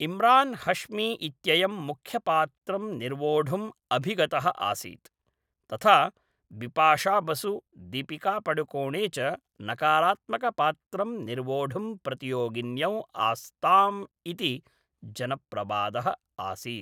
इम्रान् हश्मी इत्ययं मुख्यपात्रं निर्वोढुम् अभिगतः आसीत्, तथा बिपाशा बसु, दीपिका पडुकोणे च नकारात्मकपात्रं निर्वोढुं प्रतियोगिन्यौ आस्ताम् इति जनप्रवादः आसीत्।